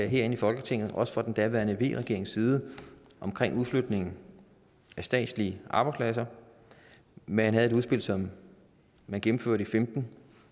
herinde i folketinget også fra den daværende v regerings side om udflytningen af statslige arbejdspladser man havde et udspil som man gennemførte i femten